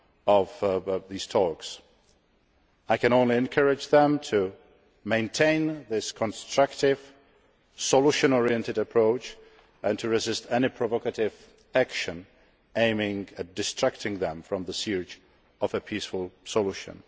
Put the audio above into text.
of these talks. I can only encourage them to maintain this constructive, solution oriented approach and to resist any provocative action aimed at distracting them from the pursuit of a peaceful solution.